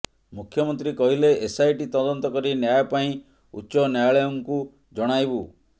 ମୁଖ୍ୟମନ୍ତ୍ରୀ କହିଲେ ଏସଆଇଟି ତଦନ୍ତ କରି ନ୍ୟାୟ ପାଇଁ ଉଚ୍ଚ ନ୍ୟାୟାଳୟଙ୍କୁ ଜଣାଇବୁ